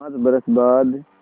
पाँच बरस बाद